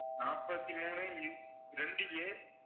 நாற்பத்தி மூணு இன்~ ரெண்டு a